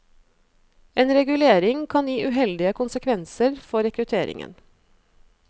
En regulering kan gi uheldige konsekvenser for rekrutteringen.